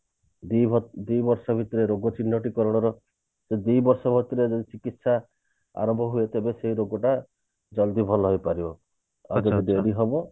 ଦି ବର୍ଷ ଦି ବର୍ଷ ଭିତରେ ରୋଗ ଚିହ୍ନଟ ତ ତାଙ୍କର ସେ ଦିବର୍ଷ ଭିତରେ ଯଦି ଚିକିତ୍ସା ଆରମ୍ଭ ହୁଏ ତେବେ ସେ ରୋଗଟା ଜଲ୍ଦି ଭଲ ହେଇ ପାରିବ ଆଉ ଯଦି ଡେରି ହବ